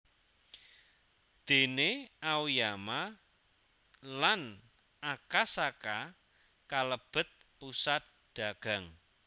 Déné Aoyama lan Akasaka kalebet pusat dagang